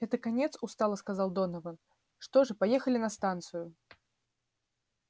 это конец устало сказал донован что же поехали на станцию